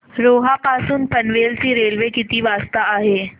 रोहा पासून पनवेल ची रेल्वे किती वाजता आहे